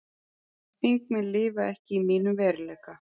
Þingmenn lifa ekki í mínum veruleika